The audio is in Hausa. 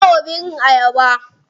Ka bawa birin ayaba.